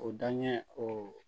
O danɲɛ o